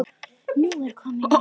Nú er komið nóg!